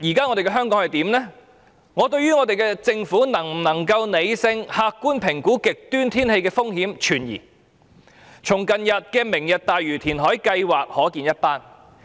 我對政府能否理性和客觀評估極端天氣風險存疑，從近日的"明日大嶼"填海計劃即可見一斑。